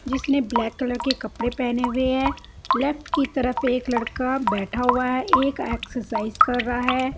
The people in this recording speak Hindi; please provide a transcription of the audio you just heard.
जिसने ब्लैक कलर के कपडे पेहने हुए है लेफ्ट की तरफ एक लड़का बेठा हुआ है एक एक्ससाईस कर रा है।